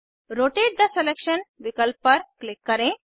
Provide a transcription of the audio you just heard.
rotate the selection विकल्प पर click करें